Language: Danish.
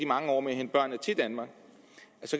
mange år med at hente børnene til danmark